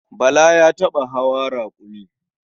Bala ya taɓa hawa raƙumi.